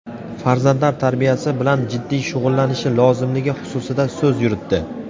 farzandlar tarbiyasi bilan jiddiy shug‘ullanishi lozimligi xususida so‘z yuritdi.